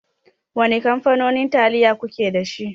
Wane kamfanonin taliyo kuke dashi.